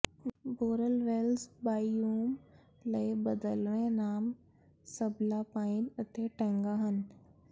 boreal ਵੈਲਸ biome ਲਈ ਬਦਲਵੇਂ ਨਾਮ ਸਬਲਾਪਾਈਨ ਅਤੇ ਟੈਂਗਾ ਹਨ